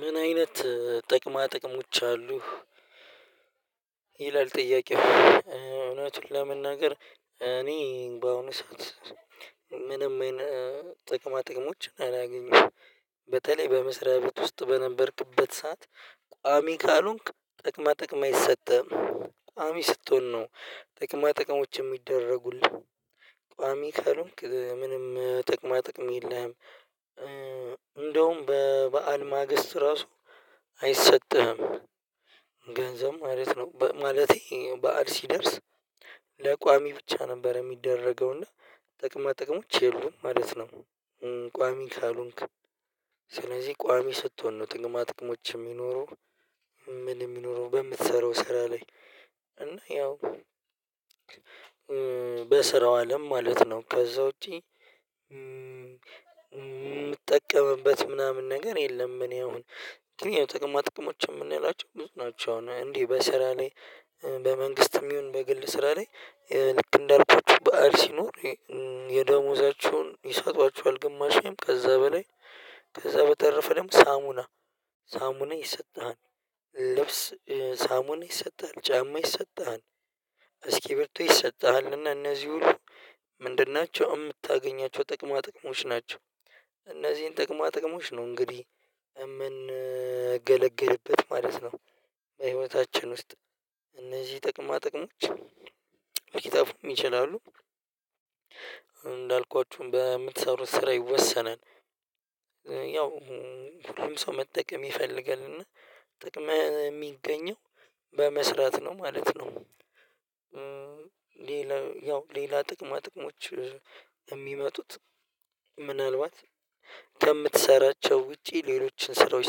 ምን አይነት ጥቅማ ጥቅሞች አሉህ? ይላል ጥያቄው እውነቱን ለመናገር እኔ በአሁኑ ሰዓት። ምንም አይነት ጥቅማ ጥቅሞችን አላገኘሁም በተለይ በመስሪያ ቤት ውስጥ በነበርክበት ሰዓት ቋሚ ካልሆንክ ጥቅማ ጥቅም አይሰጥህም። ቋሚ ስትሆን ነው ጥቅማ ጥቅሞች የሚደረጉልህ። ቋሚ ካሉን ምንም ጥቅማ ጥቅም የለህም እንደውም በበዓል ማግስት ራሱ አይሰጥህም። ገንዘብ ማለት ነው ማለቴ በዓል ሲደርስ ለቋሚ ብቻ ነበር የሚደረገውና ጥቅማ ጥቅሞች የሉም ማለት ነው። ቋሚ ካልሆንክ። ስለዚህ ቋሚ ስትሆን ነው ጥቅማ ጥቅሞች የሚኖሩ። የሚኖረው በምትሰራው ስራ ላይ እና ያው በስራው አለም ማለት ነው ከዛ ውጪ። ምጠቀምበት ምናምን ነገር የለም። እኔ አሁን ግን ጥቅማ ጥቅሞች የምንላቸው ብዙ ናቸው። እንዲህ በስራ ላይ በመንግስትም ይሁን በግል ስራ ላይ። ልክ እንዳልኳችሁ በዓል ሲኖር የደሞዛቸውን ይሰጧቸዋል ግማሽም ከዛ በላይ ከዛ በተረፈ ደግሞ ሳሙና ሳሙና ይሰጣል። ልብስ ሳሙና ይሰጥሃል ጫማ ይሰጥሃል። እስኪቢሪቶ ይሰጥሃል እና እነዚህ ሁሉ ምንድን ናቸው የምታገኛቸው ጥቅማ ጥቅሞች ናቸው። እነዚህን ጥቅማ ጥቅሞች ነው እንግዲህ የምንገለገልበት ማለት ነው። በህይወታችን ውስጥ እነዚህ ጠቅማ ጥቅሞች ሊጠፉም ይችላሉ። እንዳልኳችሁም በምትሰሩት ስራ ይወሰናል። ያው ሁሉም ሰው መጠቀም ይፈልጋልና ጥቅም የሚገኘው በመስራት ነው ማለት ነው። ሌላ ያው ሌላ ጥቅማ ጥቅሞች የሚመጡት ምናልባት ከምትሰራቸው ውጪ ሌሎችን ስራዎች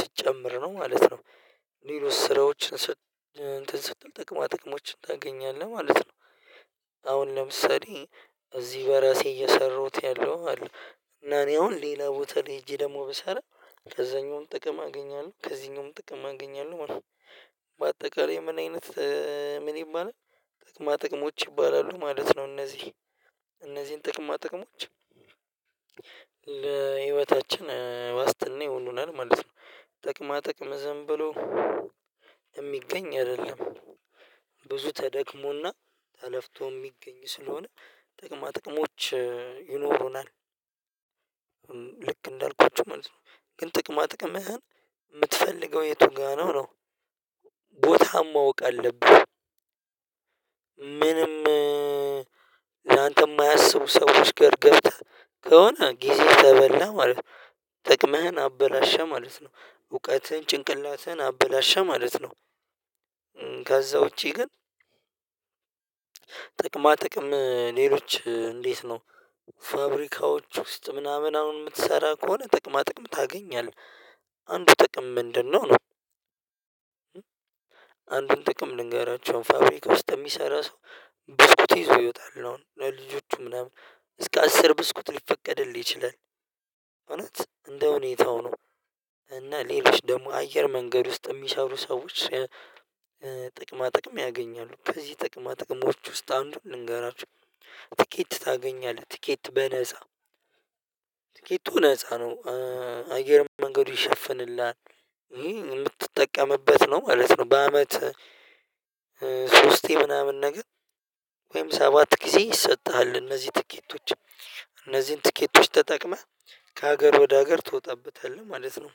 ስትጨምር ነው ማለት ነው። ሌሎች ስራዎችን እንትን ስትል ጥቅማ ጥቅሞችን ታገኛለህ ማለት ነው። አሁን ለምሳሌ እዚህ በራሴ እየሰራሁት ያለው አለ እና እኔ አሁን ሌላ ቦታ ላይ ሄጄ ደግሞ ብሰራ ከዛኛውም ጥቅም አገኛለሁ ከዚህኛውም ጥቅም አገኛለሁ ማለት ነው። በአጠቃላይ ምን አይነት ምን ይባላል ጥቅማ ጥቅሞች ይባላሉ ማለት ነው። እነዚህ እነዚህን ጥቅማ ጥቅሞች ለህይወታችን ዋስትና ይሆኑናል ማለት ነው። ጥቅማ ጥቅም ዝም ብሎ የሚገኝ አይደለም። ብዙ ተደክሞና ተለፍቶ የሚገኝ ስለሆነ ጥቅማ ጥቅሞች ይኖሩናል። ልክ እንዳልኳችሁ ማለት ነው። ግን ጥቅማ ጥቅምህን የምትፈልገው የቱ ጋር ነው ነው? ቦታህን ማወቅ አለብህ። ምንም ላንተ የማያስቡ ሰዎች ጋር ገብተህ ከሆነ ጊዜህ ተበላ ማለት ነው። ጥቅምህን አበላሸህ ማለት ነው እውቀትህን ጭንቅላትህን አበላሸ ማለት ነው። ከዛ ውጪ ግን ጥቅማ ጥቅም ሌሎች እንዴት ነው? ፋብሪካዎች ውስጥ ምናምን አሁን የምትሰራ ከሆነ ጥቅማ ጥቅም ታገኛለህ አንዱ ጥቅም ምንድነው ነው? አንድን ጥቅም ልንገራችሁ ፋብሪካ ውስጥ የሚሰራ ሰው ብስኩት ይዞ ይወጣሉ ለልጆቹ ምናምን እስከ አስር ብስኩት ሊፈቀድልህ ይችላል። እውነት እንደ ሁኔታው ነው። እና ሌሎች ደግሞ አየር መንገድ ውስጥ የሚሰሩ ሰዎች። ጥቅማ ጥቅም ያገኛሉ ከዚህ ጥቅማ ጥቅሞች ውስጥ አንዱን ልንገራችሁ። ትኬት ታገኛለህ ትኬት በነፃ ትኬቱ ነፃ ነው። አየር መንገዱ ይሸፍንልሃል የምትጠቀምበት ነው ማለት ነው። በአመት ሶስቴ ምናምን ነገር ወይም ሰባት ጊዜ ይሰጥሃል እነዚህ ትኬቶች እነዚህን ትኬቶች ተጠቅመህ ከሀገር ወደ ሀገር ትወጣበታለህ ማለት ነው።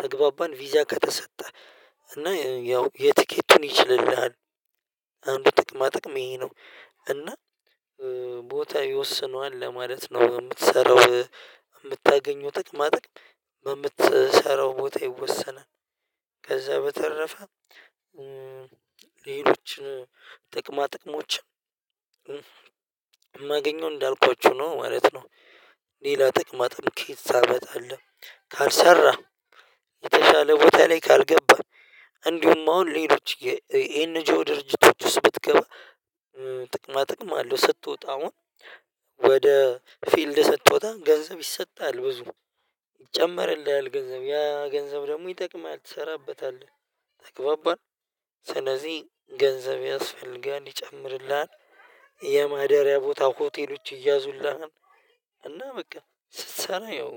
ተግባባን ቪዛ ከተሰጠህ እና ያው የቲኬቱን ይችልልሃል ጥቅማ ጥቅም ይሄ ነው እና። ቦታ ይወስነዋል ለማለት ነው የምትሰራው። የምታገኘው ጥቅማ ጥቅም በምትሰራው ቦታ ይወሰናል። ከዛ በተረፈ ሌሎችን ጥቅማ ጥቅሞችን ማገኘው እንዳልኳችሁ ነው ማለት ነው። ሌላ ጥቅማ ጥቅም ከየት ታመጣለህ? ካልሰራ የተሻለ ቦታ ላይ ካልገባህ። እንዲሁም አሁን ሌሎች የኤንጂኦ ድርጅቶች ውስጥ ብትገባ። ጥቅማ ጥቅማ አለው ስትወጣ አሁን ወደ ፊልድ ስትወጣ ገንዘብ ይሰጥሃል። ብዙ ይጨመርልሃል ገንዘብ ያ ገንዘብ ደግሞ ይጠቅምሃል ትሰራበታለህ ተግባባን ስለዚህ ገንዘብ ያስፈልግሃል ይጨምርልሃል። የማደሪያ ቦታ ሆቴሎች ይያዙልሃል። እና በቃ ስትሰራ ያው